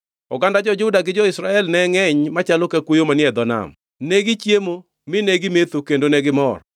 Oganda jo-Juda gi jo-Israel ne ngʼeny machalo ka kuoyo manie e dho nam; negichiemo, mi negimetho kendo negimor.